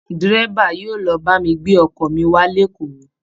Dẹ́rẹ́bà yóò lọ ba mi gbé ọkọ mi wá lékòó